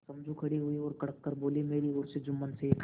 समझू खड़े हुए और कड़क कर बोलेमेरी ओर से जुम्मन शेख